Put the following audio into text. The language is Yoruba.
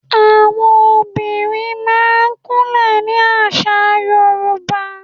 Àwọn obìnrin máa ń kún lẹ̀ ní àṣà Yorùbá.